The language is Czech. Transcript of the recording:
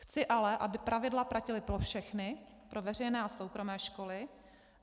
Chci ale, aby pravidla platila pro všechny, pro veřejné a soukromé školy.